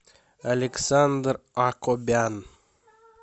александр акобян